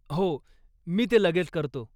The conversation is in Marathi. हो, मी ते लगेच करतो.